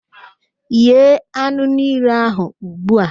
Ghee anụ niile ahụ ugbu a!